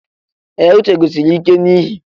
Ee! Uche guzosiri ike n'ihe.